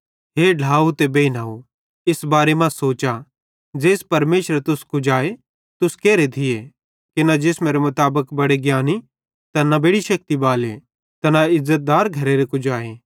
हे ढ्लाव ते बेइनव इस बारे मां सोचा ज़ेइस परमेशरे तुस कुजाए तुस केरे थिये कि न जिसमेरे मुताबिक बड़े ज्ञानी ते न बेड़ि शेक्ति बाले ते न इज़्ज़तदार घरेरे कुजाए